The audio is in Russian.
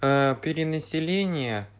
перенаселение